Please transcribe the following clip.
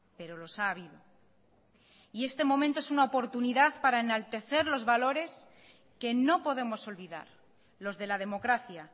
pero los ha habido y este momento es una oportunidad para enaltecer los valores que no podemos olvidar los de la democracia